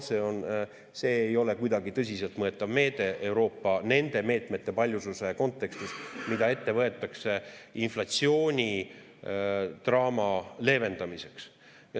See ei ole kuidagi tõsiselt võetav meede Euroopa nende meetmete paljususe kontekstis, mida ette võetakse inflatsioonidraama leevendamiseks.